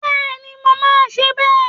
Bẹ́ẹ̀ni, mo máa ṣe bẹ́ẹ̀